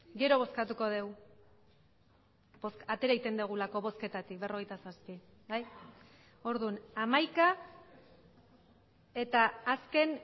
gero bozkatuko dugu atera egiten dugulako bozketatik berrogeita zazpi bai orduan hamaika eta azken